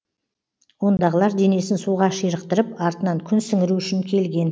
ондағылар денесін суға ширықтырып артынан күн сіңіру үшін келген